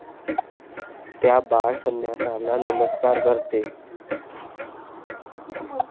त्या बाळ संन्याशाला नमस्कार करते.